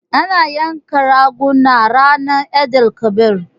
Ana yanka raguna ranan Eid-el-kabir.